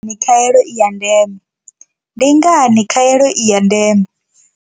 Ndi ngani khaelo i ya ndeme. Ndi ngani khaelo i ya ndeme.